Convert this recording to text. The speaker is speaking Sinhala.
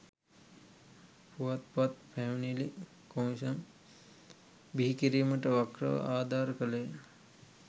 පුවත්පත් පැමිණිලි කොමිසම බිහිකිරීමට වක්‍රව ආධාර කළේය